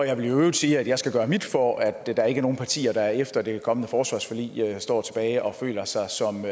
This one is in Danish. øvrigt sige at jeg skal gøre mit for at der ikke er nogen partier der efter det kommende forsvarsforlig står tilbage og føler sig som